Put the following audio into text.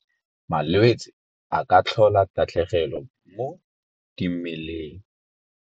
Malwetse a ka tlhola tatlhegelo mo dimeleng.